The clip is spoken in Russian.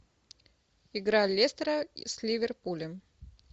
игра лестера с ливерпулем